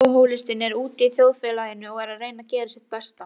Alkohólistinn er úti í þjóðfélaginu og er að reyna að gera sitt besta.